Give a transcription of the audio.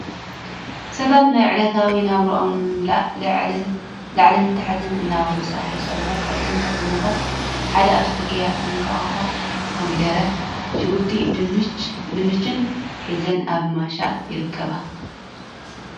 ሰባት ናይ ዕለታዊ ናብርኦም ንምምላእ ላዕልን ተሕትን እናበሉ ስራሕ ይሰርሑ ካብቶም ስራሕቲታት ሓደ ኣብ ፅርጊያ እንቃቁሖ፣ ኮሚደረ፣ ሽጉርቲ፣ ድንችን ሒዘን ኣብ ምሻጥ ይርከባ ።